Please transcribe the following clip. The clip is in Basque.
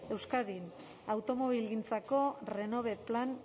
euskadin automobilgintzako renove plan